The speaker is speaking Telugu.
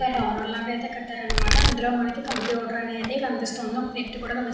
ఒక భవనం లాగా అయతె కట్టారనమాట అంధులో మనకి కంప్యూటర్ అనేది కనిపిస్తుంది. ఒక వెక్తి కూడా కనిపి --